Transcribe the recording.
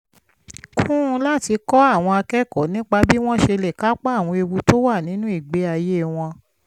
kún un láti kọ́ àwọn akẹ́kọ̀ọ́ nípa bí wọ́n ṣe lè kápá àwọn ewu tó wà nínú ìgbé ayé wọn